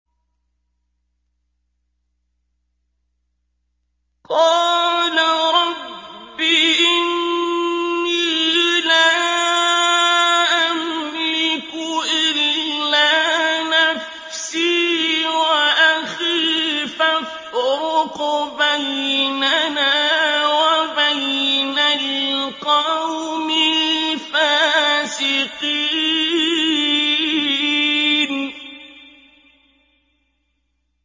قَالَ رَبِّ إِنِّي لَا أَمْلِكُ إِلَّا نَفْسِي وَأَخِي ۖ فَافْرُقْ بَيْنَنَا وَبَيْنَ الْقَوْمِ الْفَاسِقِينَ